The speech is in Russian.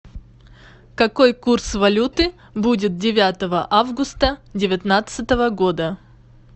какой курс валюты будет девятого августа девятнадцатого года